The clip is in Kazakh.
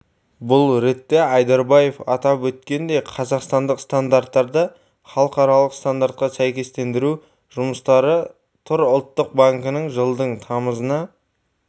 бұл ретте айдарбаев атап өткендей қазақстандық стандарттарды халықаралық стандартқа сәйкестендіру жұмыстары тұр ұлттық банкінің жылдың тамызына